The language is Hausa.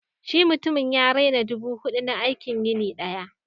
shi mutumin ya naira dubu hudu na aikin yini daya